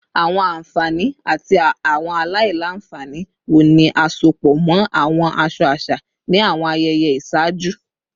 Awọn anfani ati awọn alailanfani wo ni a sopọ mọ awọn aṣọ aṣa ni awọn ayẹyẹ iṣaaju?